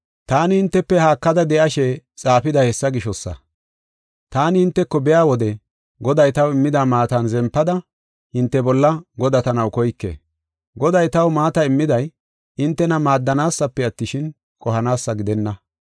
Taani hintefe haakada de7ashe xaafiday hessa gishosa. Taani hinteko biya wode Goday taw immida maatan zempada hinte bolla godatanaw koyke. Goday taw maata immiday, hintena maaddanaasafe attishin, qohanaasa gidenna.